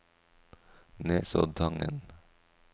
Nesoddtangen